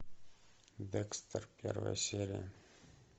декстер первая серия